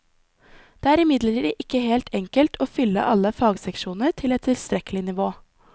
Det er imidlertid ikke helt enkelt å fylle alle fagseksjoner til et tilstrekkelig nivå.